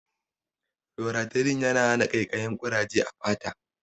Loratidin yana hana ƙaikayin ƙuraje a fata